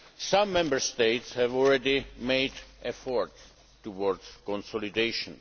Some Member States have already made efforts towards consolidation.